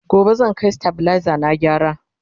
gobe zan Kai stabilizer na gyara